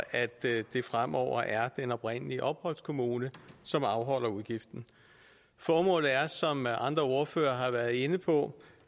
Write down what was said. at det fremover er den oprindelige opholdskommune som afholder udgiften formålet er som andre ordførere har været inde på